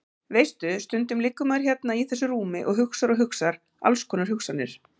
Veistu. stundum liggur maður hérna í þessu rúmi og hugsar og hugsar alls konar hugsanir.